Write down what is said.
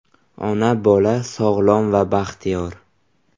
Ona-bola sog‘lom va baxtiyor.